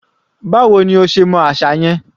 Báwo ní o ṣe mọ àṣà yẹn?